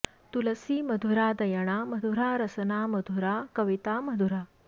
तुलसी मधुरा दयणा मधुरा रसना मधुरा कविता मधुरा